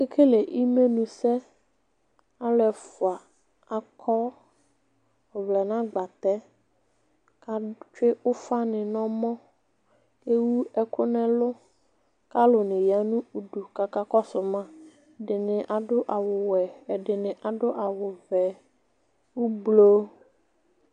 Akekele imenʋsɛ alʋ ɛfʋa akɔ ɔvlɛ nʋ agbatɛ kʋ etsue ufani nʋ ɔmɔ ewʋ ɛkʋ nʋ ɛlʋ alʋ niya nʋ udʋ kʋ akakɔsʋ ma adʋ awʋwɛ ɛdini adʋ awʋvɛ